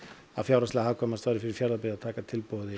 að fjárhagslega hagkvæmast væri fyrir Fjarðabyggð að taka tilboði